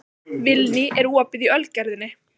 Vilný, er opið í Ölgerðinni?